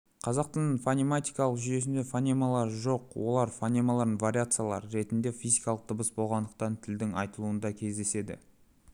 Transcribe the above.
қазақ тілінің фонетикалық жүйесінде фонемалары жоқ олар фонемаларының вариациялары ретіндегі физикалық дыбыс болғандықтан тілдің айтылуында кездеседі